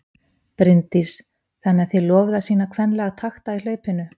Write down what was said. Bryndís: Þannig að þið lofið að sýna kvenlega takta í hlaupinu?